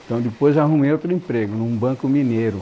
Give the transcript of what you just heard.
Então depois arrumei outro emprego num banco mineiro.